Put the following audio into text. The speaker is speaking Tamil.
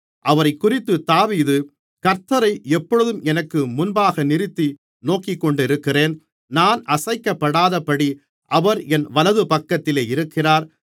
அவரைக்குறித்து தாவீது கர்த்த்தரை எப்பொழுதும் எனக்கு முன்பாக நிறுத்தி நோக்கிக்கொண்டிருக்கிறேன் நான் அசைக்கப்படாதபடி அவர் என் வலதுபக்கத்திலே இருக்கிறார்